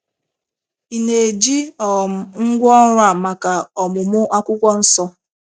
Ị̀ na - eji um ngwá ọrụ a maka ọmụmụ akwụkwọ nsọ?